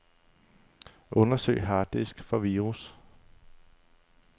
Undersøg harddisk for virus.